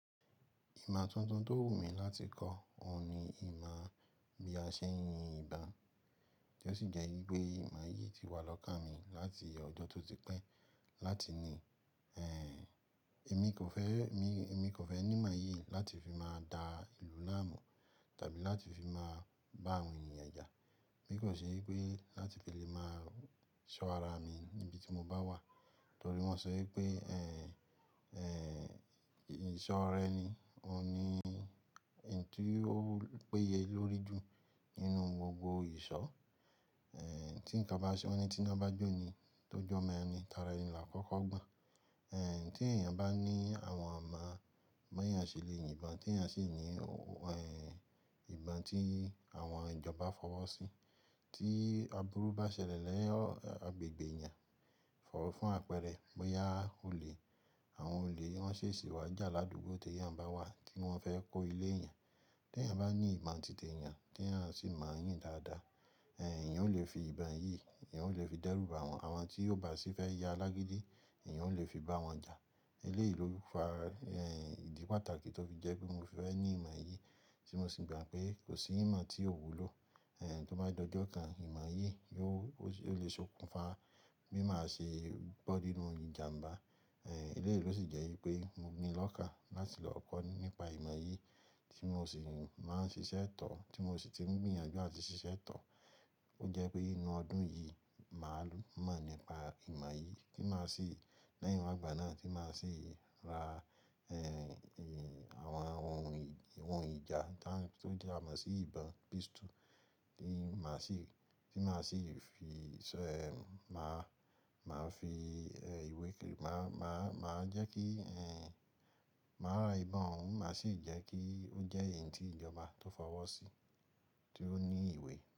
Ìmọ̀ tuntun tó wù mí láti kọ́, òun ni ìmọ̀ bí a ṣe ń yin ìbọn, tí ó sì jẹ́ wípé ìmọ̀ yìí ti wà lọ́kàn mi láti ọjọ́ tó ti pẹ́ láti ní, èmi kò fẹ́, èmi kò fẹ́ ní ìmọ̀ yìí láti fi máa da ìlú láàmú tàbí láti fi máa bá àwọn èniyàn ja. Bi kò ṣe wípé láti fi lè máa ṣọ́ ara mi níbi tí mo bá wà, torí wọ́n sọ wípé, ìṣọ́ ra eni òun ni oun tí ó péye lórí jù nínú gbogbo ìṣọ́. Tí ǹkan bá ṣele, wọ́n ní tí iná bá jó ni tó jọ́ omọ́ ẹni tara ẹni là á kọ́kọ́ gbọ̀n. Tí èèyàn bá ní àwọn imọ bi eyán ṣelẹ̀ yìnbọn, tí èèyàn sì ní, ìbọn tí àwọn ìjọba fọwọ́ sí, tí aburú bá ṣẹlẹ̀ ni agbègbè èèyàn, fọ̀wọ́ fún àpẹẹrẹ, bóyá olè, àwọn olè wọn ṣèṣì wá jà ládùúgbò tí èèyàn bá wà tí wọ́n fẹ́ kó ilé èèyàn. Tí èèyàn bá ní ìmọ̀ títí èèyàn, tí èèyàn sì mọ̀ yín dáadáa, èèyàn ó lè fi ìbọn yìí, èèyàn ó lè fi dẹ́rù bá wọn. Àmo tí ó bá sì fẹ́ ya alágídí, èèyàn ó lè fi bá wọn jà. Eléyìí ló fa, ìdí pàtàkì tó fi jẹ́ pé mo fẹ́ ní ìmọ̀ yìí, tí mo sì gbà pé kò sí ìmọ̀ tí ò wúlò, tó bá dojú kan ìmọ̀ yìí ni ó lè ṣokùnfà, bi máa se bọ́ nínú ìjàmbá. Eléyìí ló sì jẹ́ wípé mo ni lọ́kàn láti lọ kọ́ nípa ìmọ̀ yìí tí mo sì máa ń ṣiṣẹ́ tọ̀, tí mo sì ti ń gbìyànjú àti ṣiṣẹ́ tọ̀. Ó jẹ́ pé nínú ọdún yìí, màá mọ̀ nípa ìmọ̀ yìí tí màá sì, lẹ́yìn igbà náà tí màá sì ra, àwọn ohun ìjà tó jẹ́ àmọ̀ sí ìbọn, pistol tí màá sì, tí màá sì finṣọ́ ẹ́mi mi, màá, màá fi ìwe màá, màá jẹ́ kí màá rà ìbọn òun, màá sì jẹ́ kí ó jẹ́ èyí tí ìjọba ti fọwọ́ sí tí ó ní ìwé.